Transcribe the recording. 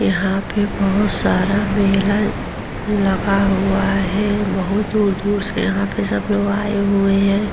यहां पर बोहोत सारा मेला लगा हुआ है। बोहोत दूर-दूर से यहाँ पे सब लोग आए हुए हैं।